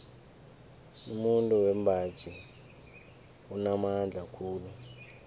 umuntu wembaji unamandla khulu